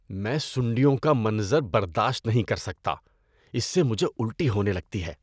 میں سُنڈیوں کا منظر برداشت نہیں کر سکتا، اس سے مجھے الٹی ہونے لگتی ہے۔